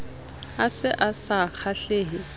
a se a sa kgahlehe